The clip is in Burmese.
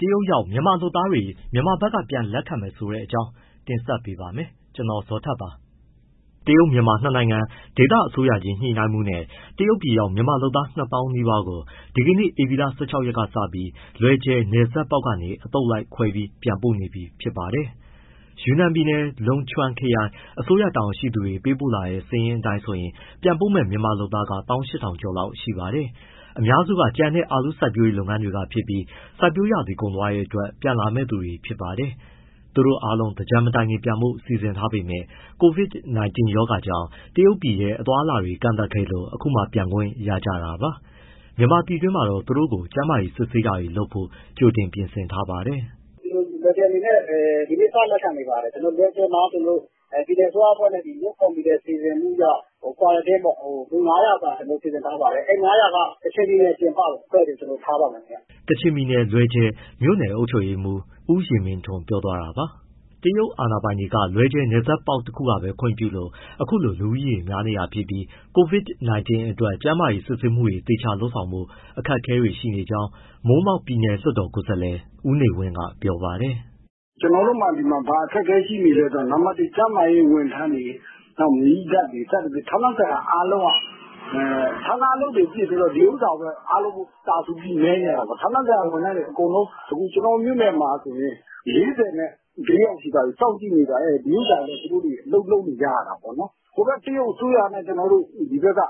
တရုတ်ရောက် မြန်မာလုပ်သားတွေကို မြန်မာဘက်ကပြန်လက်ခံတဲ့ အစီအစဉ်အကြောင်း ဗွီအိုအေ မြန်မာပိုင်းသတင်းထောက် ကိုဇော်ထက်က တင်ဆက်ပေးပါမယ်။ မြန်မာ-တရုတ်နှစ်နိုင်ငံ ဒေသအစိုးရချင်း ညှိနှိုင်းမှုနဲ့ တရုတ်ပြည်ရောက် မြန်မာလုပ်သား ၂၀,၀၀၀ နီးပါးကို ဒီနေ့ ဧပြီလ ၁၆ ရက်ကစပြီး လွယ်ဂျယ် နယ်စပ်ပေါက်ကနေ အသုတ်လိုက်ခွဲပြီး ပြန်ပို့နေပြီဖြစ်ပါတယ်။ ယူနန်ပြည်နယ်၊ လုံချွမ်ခရိုင် အစိုးရတာဝန်ရှိသူတွေ ပေးပို့လာတဲ့ စာရင်းအတိုင်းဆိုရင် ပြန်ပို့မယ့် မြန်မာလုပ်သားတွေက ၁၈,၀၀၀ ကျော်လောက်ရှိပါတယ်။ အများစုက ကြံနဲ့ အာလူးလို စိုက်ပျိုးရေးလုပ်ငန်းတွေက ဖြစ်ပြီး စိုက်ပျိုးရာသီကုန်သွားတဲ့အတွက် ပြန်လာမယ့်သူတွေဖြစ်ပါတယ်။ သူတို့အားလုံးက သင်္ကြန်မတိုင်ခင်ပြန်ဖို့ စီစဉ်ထားပေမဲ့ COVID-19 ရောဂါကြောင့် တရုတ်ပြည်ထဲ အသွားအလာတွေ ကန့်သတ်ခဲ့လို့ အခုမှ ပြန်ခွင့်ရကြတာပါ။ မြန်မာပြည်တွင်းမှာတော့ သူတို့ကို ကျန်းမာရေးစစ်ဆေးတာတွေလုပ်ဖို့ ကြိုတင်ပြင်ဆင်ထားပါတယ်။ “လွယ်ဂျယ်အနေနဲ့ ဒီနေ့စ လက်ခံနေပါတယ်၊ လွယ်ဂျယ်မှာ ပြည်နယ်အစိုးရအဖွဲ့နဲ့ COVID ကော်မတီစီစဉ်မှု quarantine ပေါ့ လူ ၅၀၀ စာစီစဉ်ထားပါတယ်။ အဲဒီ ၅၀၀ က ကချင်ပြည်နယ်ပြင်ပ အဖွဲ့တွေကို ထားပါမယ်ခင်ဗျ။” ကချင်ပြည်နယ်၊ လွယ်ဂျယ် မြို့နယ်အုပ်ချုပ်ရေးမှူး ဦးယဉ်မင်းထွန်း ပြောသွားတာပါ။ တရုတ်အာဏာပိုင်တွေက လွယ်ဂျယ်နယ်စပ်ပေါက် တခုကပဲခွင့်ပြုလို့ အခုလို လူဦးရေ များနေတာဖြစ်ပြီး COVID-19 အတွက် ကျန်းမာရေး စစ်ဆေးမှုတွေ သေချာလုပ်ဆောင်ဖို့ အခက်အခဲတွေ ရှိနေကြောင်း မိုးမောက် ပြည်နယ်လွှတ်တော်ကိုယ်စားလှယ် ဦးနေဝင်းကပြောပါတယ်။ “ကျနော်တို့မှာ ဒီမှာ ဘာအခက်အခဲရှိနေလဲဆိုတော့ နံပတ် ကျန်းမာရေးဝန်ထမ်းတွေ၊ နောက်မီးသတ်တွေ စသဖြင့် ဌာနဆိုင်ရာအားလုံးက ဌာနအလုပ်တွေ ပစ်ပြီးတော့ ဒီဥစ္စာကိုပဲ တာစူပြီး မဲနေရတာပေါ့။ ဌာနဆိုင်ရာဝန်ထမ်းတွေ အကုန်လုံးအခု ကျနော်တို့ မြို့နယ်မှာဆိုရင် ၄၄ ယောက်ရှိသွားပြီ။ ရောဂါ စောင့်ကြည့်နေရတာ။ ဒီဥစ္စာအတွက် သူတို့ အလုပ်လုပ်နေကြတယ်။ ဟိုဘက်က တရုတ်အစိုးရနဲ့ မြန်မာပြည်ဘက်က